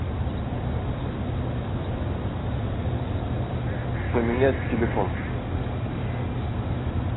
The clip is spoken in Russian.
поменять телефон